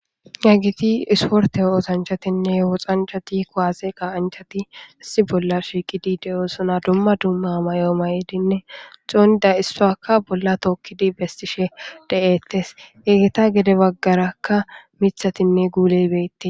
yagiti isporte o osanchatinne woxanchati koaze qaanchati assi bolla shiiqidi de7oosona dumma dumma mayo maydinne xounida issakka bolla tookkidi bestishe de7ettes egeta gede baggarakka mithatinne guuleybeette